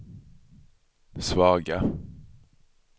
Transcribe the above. svaga